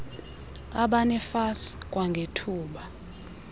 abane fas kwangethuba